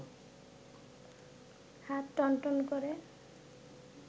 হাত টনটন করে